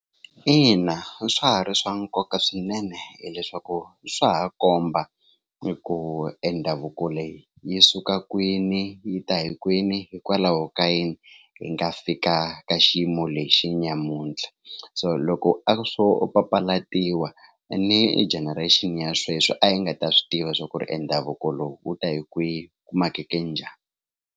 Ina, swa ha ri swa nkoka swinene hileswaku swa ha komba hi ku e ndhavuko leyi yi suka kwini yi ta hi kwini hikwalaho ka yini yi nga fika ka ka xiyimo lexi nyamuntlha so loko a swo papalatiwa ni generation ya sweswi a yi nga ta swi tiva swa ku ri i ndhavuko lowu wu ta hi kwihi ku makeke njhani.